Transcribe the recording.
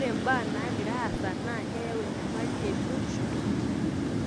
re mbaa naagira aasa naa keeyau enyamali e biotisho toonkera.